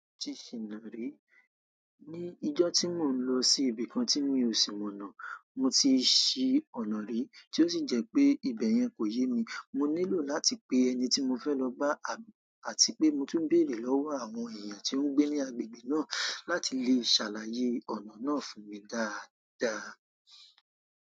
Mo ti ṣìna ri ni ijọ́ tí mò ń lọ sí ibìkan tí mì o ṣí mọ̀nà, mo ti ṣí ọ̀nà ri tí ó sì jẹ́ pé ibẹ̀ yẹn kò yé mi. Mo nílò láti pe ẹni tí mo fẹ́ lọ bá àti pé mo tún bèrè lọ́wọ́ àwọn èèyàn tí ó ń gbé ní agbègbè náà láti lè ṣàlàyé ọ̀nà náà fún mi dáadáa.